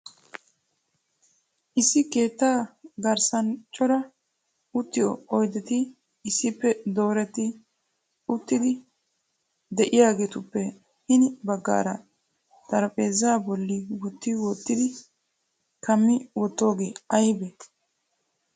Issi keettaa garssan cora uttiyo oydeti issippe dooreti uttidi de'iyaageetuppe hini baggaara xarphpheeza bolli wotti wottidi kammi wottidooge aybbe ?